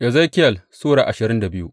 Ezekiyel Sura ashirin da biyu